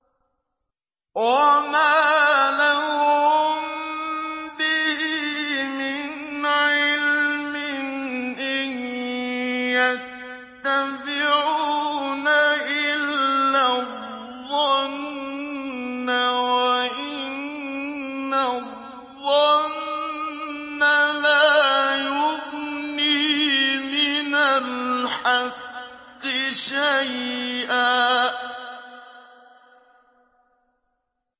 وَمَا لَهُم بِهِ مِنْ عِلْمٍ ۖ إِن يَتَّبِعُونَ إِلَّا الظَّنَّ ۖ وَإِنَّ الظَّنَّ لَا يُغْنِي مِنَ الْحَقِّ شَيْئًا